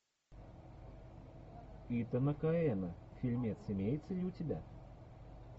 итана коэна фильмец имеется ли у тебя